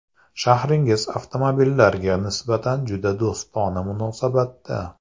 Shahringiz avtomobillarga nisbatan juda do‘stona munosabatda.